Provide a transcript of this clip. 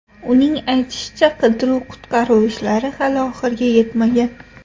Uning aytishicha, qidiruv-qutqaruv ishlari hali oxiriga yetmagan.